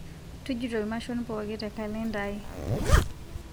tujuto mashon pooki tee kalenda ai